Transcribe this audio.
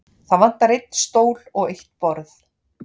Það vantar einn stól og eitt borð.